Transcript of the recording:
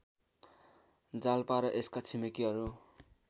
जालपा र यसका छिमेकीहरू